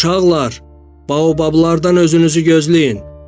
Uşaqlar, baobablardan özünüzü gözləyin.